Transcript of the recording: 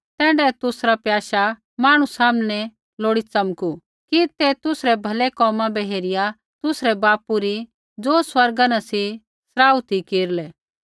तैण्ढाऐ तुसरा प्याशा मांहणु सामनै लोड़ी च़मकू कि ते तुसरै भलै कोमा बै हेरिया तुसरै बापू री ज़ो स्वर्गा न सी सराहणा केरलै